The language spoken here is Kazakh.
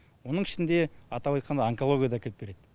оның ішінде атап айтқанда онкология да әкеп береді